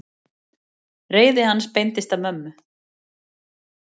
Reiði hans beindist að mömmu.